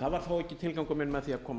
það var þó ekki tilgangur minn með því að koma